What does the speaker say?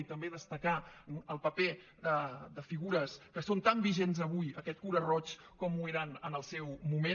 i també destacar el paper de figures que són tan vigents avui aquest cura roig com ho eren en el seu moment